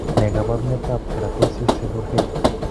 Ne kaabarunetap Keratosis, seborrheic?